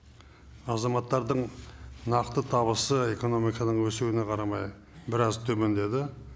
азаматтардың нақты табысы экономиканың өсуіне қарамай біраз төмендеді